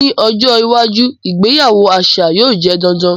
Ni ojo iwaju, ìgbéyàwó aṣa yóò jẹ dandan.